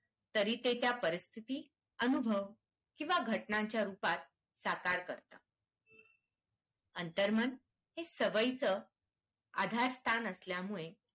तरी ते त्या परिस्थिती, अनुभव किंवा घटनाच्या रूपात साकार करत अंतर्मन हे सवयीचं आधार स्थान असल्यामुळे